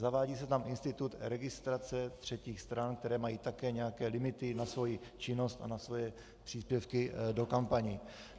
Zavádí se tam institut registrace třetích stran, které mají také nějaké limity na svoji činnost a na svoje příspěvky do kampaní.